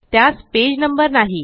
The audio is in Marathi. त्यास पेज नंबर नाही